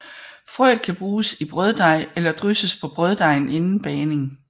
Frøet kan bruges i brøddej eller drysses på brøddejen inden bagning